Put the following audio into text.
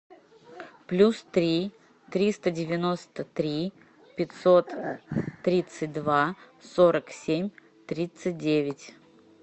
плюс три триста девяносто три пятьсот тридцать два сорок семь тридцать девять